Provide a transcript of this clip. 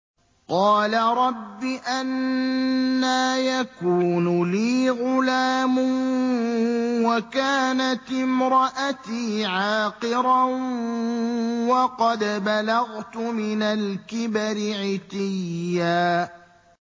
قَالَ رَبِّ أَنَّىٰ يَكُونُ لِي غُلَامٌ وَكَانَتِ امْرَأَتِي عَاقِرًا وَقَدْ بَلَغْتُ مِنَ الْكِبَرِ عِتِيًّا